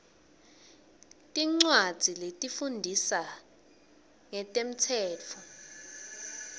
tincwadzi letifundzisa ngemtsetfo